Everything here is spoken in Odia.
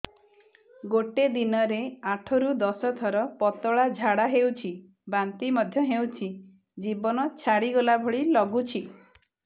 ଗୋଟେ ଦିନରେ ଆଠ ରୁ ଦଶ ଥର ପତଳା ଝାଡା ହେଉଛି ବାନ୍ତି ମଧ୍ୟ ହେଉଛି ଜୀବନ ଛାଡିଗଲା ଭଳି ଲଗୁଛି